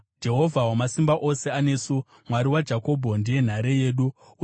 Jehovha Wamasimba Ose anesu; Mwari waJakobho ndiye nhare yedu. Sera